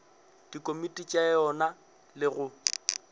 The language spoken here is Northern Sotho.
dikomiti tša yona le go